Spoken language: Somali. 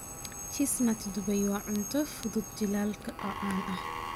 Chestnut dubay waa cunto fudud jiilaalka oo caan ah.